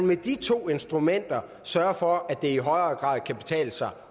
med de to instrumenter sørger for at det i højere grad kan betale sig